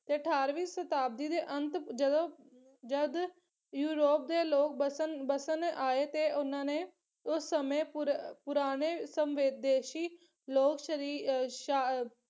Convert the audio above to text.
ਤੇ ਅਠਾਰਵੀਂ ਸ਼ਤਾਬਦੀ ਦੇ ਅੰਤ ਜਦੋਂ ਜਦ ਯੂਰੋਪ ਦੇ ਲੋਕ ਬਸਣ ਬਸਣ ਆਏ ਤੇ ਉਹਨਾਂ ਨੇ ਉਸ ਸਮੇਂ ਪੁਰ ਪੁਰਾਣੇ ਸਨਵੰਦੇਸ਼ੀ ਲੋਕ ਸ਼੍ਰੀ ਸ਼ਾਹ ਅਹ